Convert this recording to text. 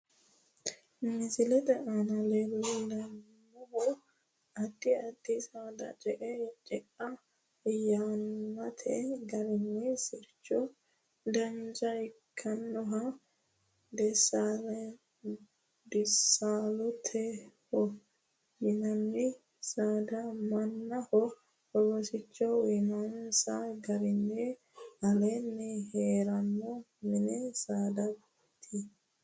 Misilete aanna la'neemohu addi addi saada ce'e yannate garinni sircho dancha ikinohanna deesalootaho yinanni saada mannaho rosicho uyinoonnisa garinni alaa'le heerano mini saadaati.